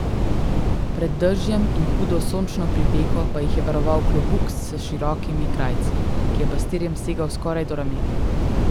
Pred dežjem in hudo sončno pripeko pa jih je varoval klobuk s širokimi krajci, ki je pastirjem segal skoraj do ramen.